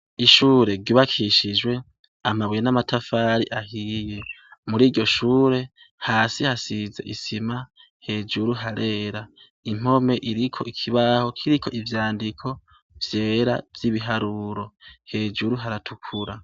Ishure ryubakishijw' amabuye n' amatafar'ahiye, muriryo shure, hasi hasiz' isima, hejuru harera, impome irik' ikibaho kirik' ivyandiko vyera vy' ibiharuro, hejuru haratukura.